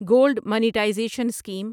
gold monetisation scheme